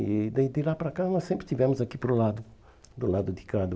E daí de lá para cá nós sempre estivemos aqui para o lado, do lado de cá do...